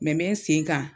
Mɛ mɛ n sen kan